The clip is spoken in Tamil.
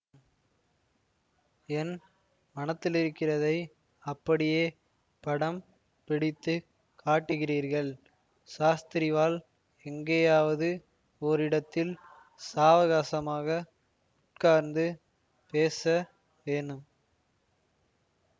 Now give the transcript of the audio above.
என் மனத்திலிருக்கிறதை அப்படியே படம் பிடித்து காட்டுகிறீர்கள் சாஸ்திரிவாள் எங்கேயாவது ஓரிடத்தில் சாவகாசமாக உட்கார்ந்து பேச வேணும்